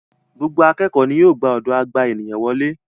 Gbogbo àkẹ́kọ ni yíò gbà ọdọ agba ènìyàn wole.